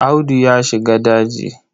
Audu ya shiga daji.